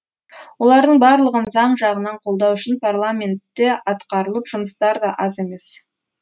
олардың барлығын заң жағынан қолдау үшін парламентте атқарылып жұмыстар да аз емес